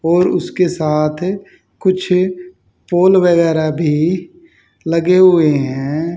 और उसके साथ कुछ पोल वगैरह भी लगे हुए हैं।